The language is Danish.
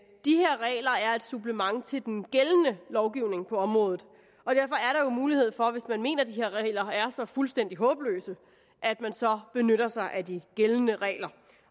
supplement til den gældende lovgivning på området og derfor er mulighed for hvis man mener de her regler er så fuldstændig håbløse at man så benytter sig af de gældende regler